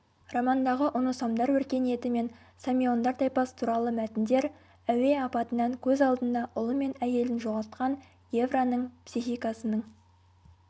романдағы оносамдар өркениеті мен самиондар тайпасы туралы мәтіндер әуе апатынан көз алдында ұлы мен әйелін жоғалтқан гевраның психикасының